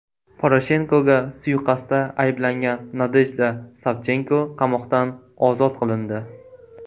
Poroshenkoga suiqasdda ayblangan Nadejda Savchenko qamoqdan ozod qilindi.